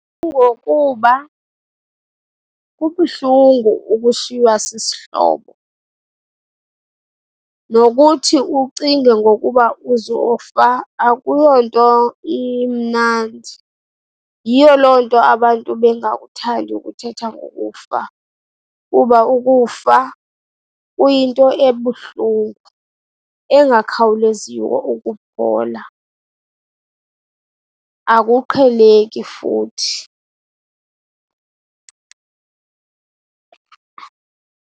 Kungokuba kubuhlungu ukushiywa sisihlobo, nokuthi ucinge ngokuba uzofa akuyonto imnandi. Yiyo loo nto abantu bengakuthandi ukuthetha ngokufa, kuba ukufa kuyinto ebuhlungu engakhawuleziyo ukuphola, akuqheleki futhi.